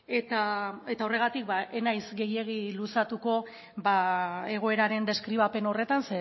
eta horregatik ez naiz gehiegi luzatuko egoeraren deskribapen horretan